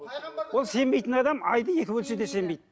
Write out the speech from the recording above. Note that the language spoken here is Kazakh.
ол сенбейтін адам айды екі бөлсе де сенбейді